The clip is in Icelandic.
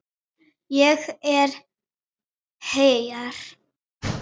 Ég er hér!